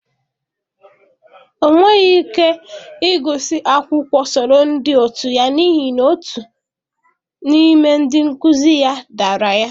Ọ nweghị ike ịgụsi akwụkwọ soro ndị otu ya n'ihi na otu n'ime ndị nkuzi ya dara ya.